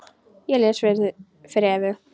Ég les það fyrir Evu.